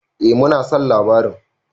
Eh mu na son labarin.